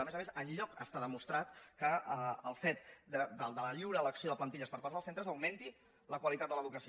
a més a més enlloc està demostrat que el fet de la lliure elecció de plantilles per part dels centres aug·menti la qualitat de l’educació